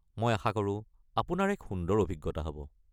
মই আশাকৰোঁ আপোনাৰ এক সুন্দৰ অভিজ্ঞতা হ'ব।